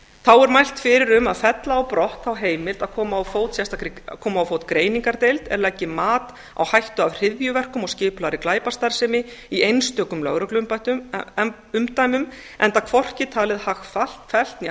þá er mælt fyrir um að fella á brott þá heimild að koma á fót greiningardeild er leggi mat á hættu af hryðjuverkum og skipulagðri glæpastarfsemi í einstökum lögregluumdæmum enda hvorki talið hagfellt né